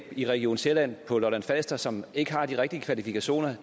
i region sjælland på lolland falster og som ikke har de rigtige kvalifikationer